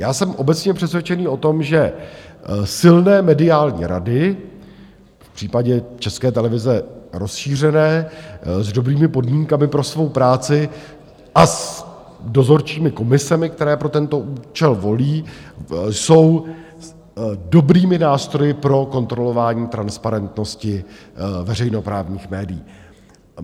Já jsem obecně přesvědčený o tom, že silné mediální rady, v případě České televize rozšířené, s dobrými podmínkami pro svou práci a s dozorčími komisemi, které pro tento účel volí, jsou dobrými nástroji pro kontrolování transparentnosti veřejnoprávních médií.